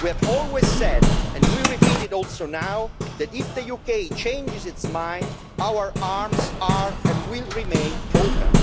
We have always said and we repeat it now that if the UK changes its mind our arms are, and will remain, open.